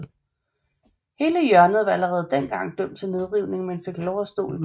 Hele hjørnet var allerede dengang dømt til nedrivning men fik lov at stå i mange år